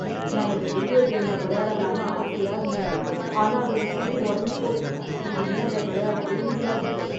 நான் இந்த வீடியோ கேம வெளையாடலான்னு ஆசையா இருந்தேன் ஆனா அதோட சிடி ஒடஞ்சு போச்சு. இனிமே அத வெளையாடவே முடியாது.